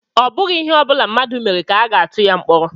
Ọ bụghị ihe ọbula mmadụ mere ka a ga-atu ya mkpọrọ